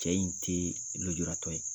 Cɛ in tɛ lujuratɔ ye.